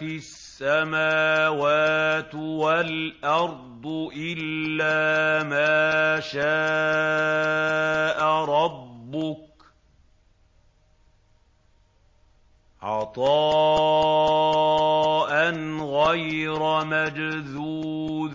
السَّمَاوَاتُ وَالْأَرْضُ إِلَّا مَا شَاءَ رَبُّكَ ۖ عَطَاءً غَيْرَ مَجْذُوذٍ